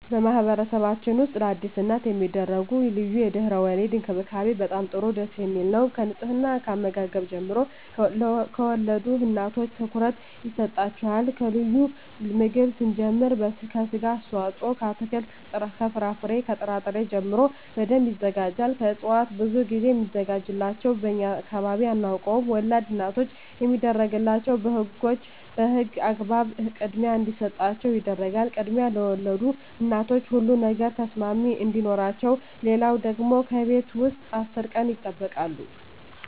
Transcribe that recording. በማህበረሰብችን ውስጥ ለአዲስ እናት የሚደረጉ ልዩ የድህረ _ወሊድ እንክብካቤ በጣም ጥሩ ደስ የሚል ነው ከንጽሕና ከአመጋገብ ጀምሮ ለወልድ እናቶች ትኩረት ይሰጣቸዋል ከልዩ ምግብ ስንጀምር ከስጋ አስተዋጽኦ ከአትክልት ከፍራፍሬ ከጥራ ጥሪ ጀምሮ በደንብ ይዘጋጃል ከእጽዋት ብዙ ግዜ ሚዘጋጅላቸው በእኛ አካባቢ አናውቀውም ወላድ እናቶች የሚደረግላቸው በህጎች በህግ አግባብ ክድሚያ እንዲሰጣቸው ይደረጋል ክድሚያ ለወልድ እናቶች ሁሉ ነገር ተሰሚነት አዲኖረቸው ሌለው ደግሞ ከቤት ውስጥ አስር ቀን ይጠበቃሉ